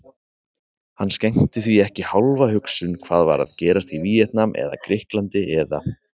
Hann skenkti því ekki hálfa hugsun hvað var að gerast í Víetnam eða Grikklandi eða